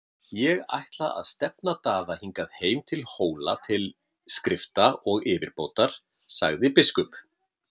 Ég ætla að stefna Daða hingað heim til Hóla til skrifta og yfirbótar, sagði biskup.